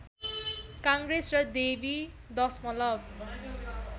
काङ्ग्रेस र डेवी दशमलव